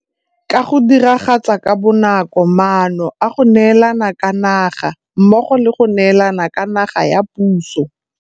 Ka go Diragatsa ka Bonako Maano a go Neelana ka 'Naga mmogo le go neelana ka 'naga ya puso.